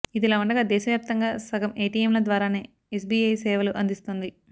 ఇదిలా ఉండగా దేశవ్యాప్తంగా సగం ఎటిఎంల ద్వారానే ఎస్బిఐ సేవలు అందిస్తోంది